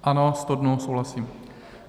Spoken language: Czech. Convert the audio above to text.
Ano, 100 dnů, souhlasím.